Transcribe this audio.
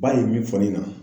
Ba ye min fɔ ne ɲɛna